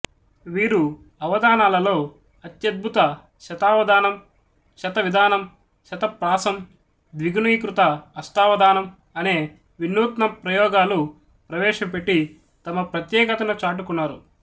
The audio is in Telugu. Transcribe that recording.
వీరు అవధానాలలో అత్యద్భుత శతావధానం శతవిధానం శతప్రాసం ద్విగుణీకృత అష్టావధానం అనే వినూత్న ప్రయోగాలు ప్రవేశపెట్టి తమ ప్రత్యేకతను చాటుకొన్నారు